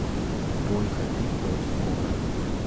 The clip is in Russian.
бой хабиб против конора